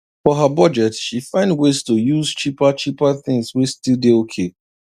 for her budget she find ways to use cheaper cheaper things wey still dey okay